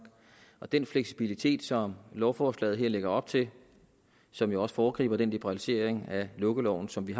og den fleksibilitet som lovforslaget her lægger op til som jo også foregriber den liberalisering af lukkeloven som vi